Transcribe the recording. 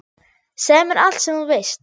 Segðu mér allt sem þú veist.